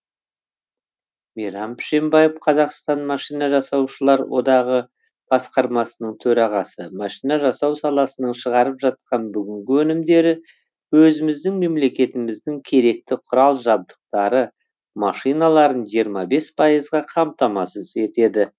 мейрам пшембаев қазақстан машина жасаушылар одағы басқармасының төрағасы машина жасау саласының шығарып жатқан бүгінгі өнімдері өзіміздің мемлекетіміздің керекті құрал жабдықтары машиналарын жиырма бес пайызға қамтамасыз етеді